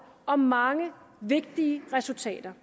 om mange vigtige resultater